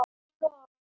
Þín og afa.